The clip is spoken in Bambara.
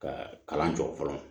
Ka kalan jɔ fɔlɔ